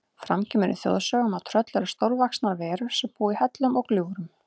Fram kemur í þjóðsögum að tröll eru stórvaxnar verur sem búa í hellum og gljúfrum.